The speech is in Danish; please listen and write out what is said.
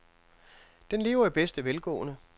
Den lever i bedste velgående.